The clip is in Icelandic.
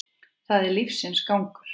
Það er lífsins gangur.